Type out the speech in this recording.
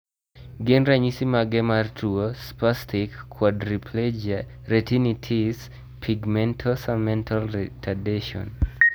Gin ranyisis mage mar tuo Spastic quadriplegia retinitis pigmentosa mental retardation?